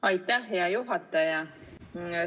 Aitäh, hea juhataja!